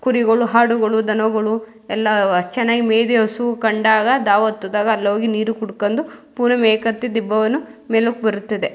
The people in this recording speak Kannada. ಕುರಿಗುಳು ಹಾಡುಗುಳು ದನಗುಳು ಎಲ್ಲಾ ವ ಚೆನ್ನಾಗ್ ಮೇಯ್ದಿ ಹಸು ಕಂಡಾಗ ದಾವತ್ತಿದಾಗ ಅಲ್ಲೋಗಿ ನೀರ್ ಕುಡ್ಕಂದು ಪುನ ಮೇಕ್ ಅತ್ತಿ ದಿಬ್ಬವನ್ನು ಮೇಲುಕ್ ಬರುತ್ತದೆ.